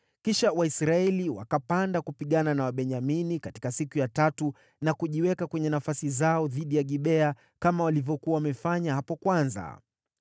Kisha Waisraeli wakapanda kupigana na Wabenyamini katika siku ya tatu na kujiweka kwenye nafasi zao dhidi ya Gibea kama walivyokuwa wamefanya hapo kwanza.